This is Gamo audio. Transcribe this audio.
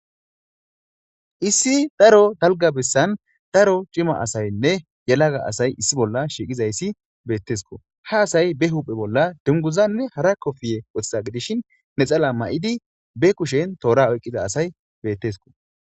issi daro talga bessan daro cima asaynne yelaga asay issi bolla shiiqizayssi beettesko ha asay be huphe bolla dunguzanne hara kofiye wothsa gidishin ne xala ma7idi be kushen toora oyqqiza asay bettesko